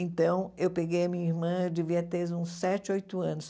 Então eu peguei a minha irmã, eu devia ter uns sete, oito anos.